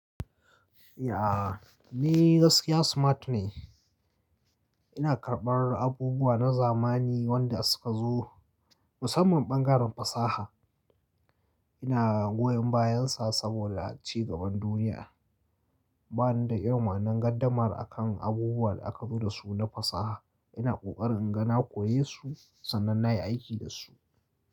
Ya, ni gaskiya smart ne. Ina karɓar abubuwa na zamani wanda suka zo musamman bangaren fasaha. Ina goyon bayansa saboda ci gaban duniya. Ba ni da irin wannan gardamar akan abubuwan da aka zo da su na fasaha. Ina ƙoƙarin inga na koyesu sannan na yi aiki da su.